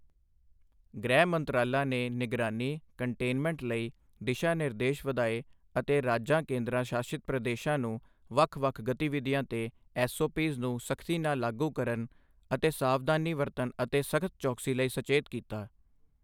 ਗ੍ਰਿਹ ਮੰਤਰਾਲਾ ਨੇ ਨਿਗਰਾਨੀ, ਕੰਟੇਨਮੈਂਟ ਲਈ ਦਿਸ਼ਾ ਨਿਰਦੇਸ਼ ਵਧਾਏ ਅਤੇ ਰਾਜਾਂ ਕੇਂਦਰ ਸ਼ਾਸਿਤ ਪ੍ਰਦੇਸ਼ਾਂ ਨੂੰ ਵੱਖ ਵੱਖ ਗਤੀਵਿਧੀਆਂ ਤੇ ਐਸਓਪੀਜ਼ ਨੂੰ ਸ਼ਖਤੀ ਨਾਲ ਲਾਗੂ ਕਰਨ ਅਤੇ ਸਾਵਧਾਨੀ ਵਰਤਣ ਅਤੇ ਸਖਤ ਚੌਕਸੀ ਲਈ ਸਚੇਤ ਕੀਤਾ